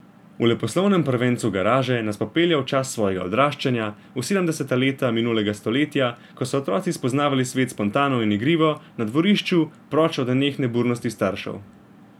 V leposlovnem prvencu Garaže nas popelje v čas svojega odraščanja, v sedemdeseta leta minulega stoletja, ko so otroci spoznavali svet spontano in igrivo, na dvorišču, proč od nenehne budnosti staršev.